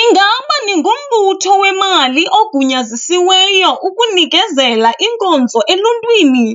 Ingaba ningumbutho wemali ogunyazisiweyo ukunikezela iinkonzo eluntwini,